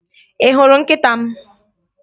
Ị hụrụ nkịta m?